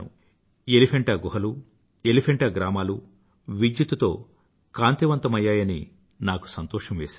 ఎలిఫెంటా గుహలు ఎలిఫెంటా గ్రామాలు విద్యుత్తుతో కాంతివంతమయ్యాయని నాకు సంతోషం వేసింది